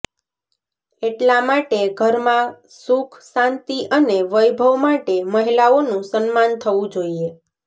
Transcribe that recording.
એટલા માટે ઘરમાં સુખ શાંતિ અને વૈભવ માટે મહિલાઓનું સન્માન થવું જોઈએ